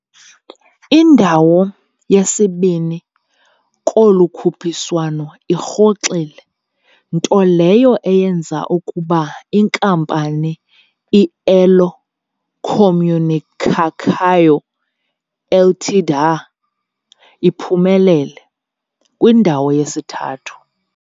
Indawo yesibini kolu khuphiswano irhoxile, nto leyo eyenza ukuba inkampani i-Elo Comunicação Ltda iphumelele, kwindawo yesithathu.